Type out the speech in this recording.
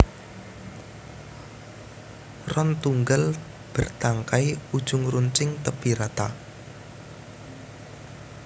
Ron tunggal bértangkai ujung runcing tépi rata